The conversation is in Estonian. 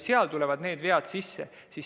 Seal võivad tulla vead sisse.